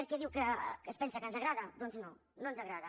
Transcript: què es pensa que ens agrada doncs no no ens agrada